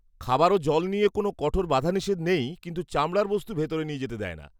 খাবার ও জল নিয়ে কোনও কঠোর বাধা নিষেধ নেই কিন্তু চামড়ার বস্তু ভিতরে নিয়ে যেতে দেয় না।